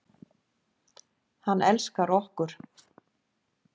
Hann elskar okkur.